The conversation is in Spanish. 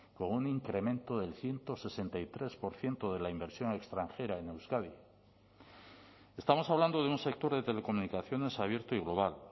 con un incremento del ciento sesenta y tres por ciento de la inversión extranjera en euskadi estamos hablando de un sector de telecomunicaciones abierto y global